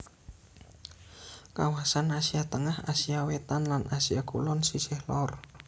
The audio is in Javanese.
Kawasan Asia Tengah Asia Wétan lan Asia Kulon sisih lor